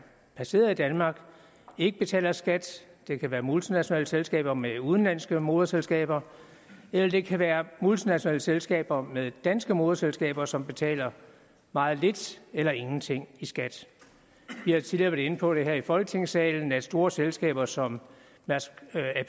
placeret i danmark ikke betaler skat det kan være multinationale selskaber med udenlandske moderselskaber eller det kan være multinationale selskaber med danske moderselskaber som betaler meget lidt eller ingenting i skat vi har tidligere været inde på her i folketingssalen at store selskaber som